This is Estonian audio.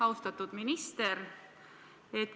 Austatud minister!